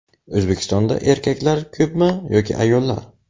O‘zbekistonda erkaklar ko‘pmi yoki ayollar?.